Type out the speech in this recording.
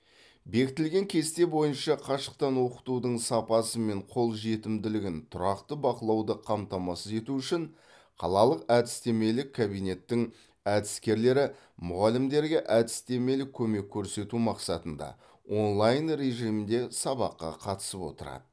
бекітілген кесте бойынша қашықтан оқытудың сапасы мен қолжетімділігін тұрақты бақылауды қамтамасыз ету үшін қалалық әдістемелік кабинеттің әдіскерлері мұғалімдерге әдістемелік көмек көрсету мақсатында онлайн режимінде сабаққа қатысып отырады